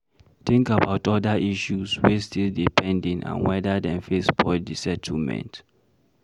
Think about oda issues wey still dey pending and wether dem fit spoil di settlement